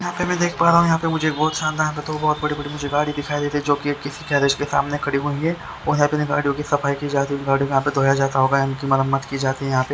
यहाँ पर मैं देख पा रहा हु यहाँ पर मुझे शानदार बहुत बड़ी बड़ी गाड़िया दिखाई दे रही है जो की किसी गैरेज के सामने खड़ी हुयी है और यहाँ सफाई की जा रही है गाड़ियों को यहाँ धोता जाता होगा इनकी मरम्मत की जाती है यहाँ पे--